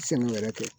Sɛnɛ wɛrɛ kɛ